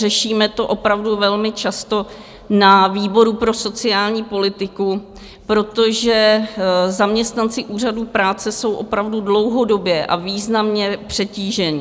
Řešíme to opravdu velmi často na výboru pro sociální politiku, protože zaměstnanci Úřadu práce jsou opravdu dlouhodobě a významně přetížení.